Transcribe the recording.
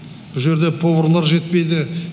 бұ жерде поварлар жетпейді